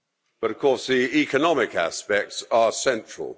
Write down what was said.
But of course the economic aspects are central.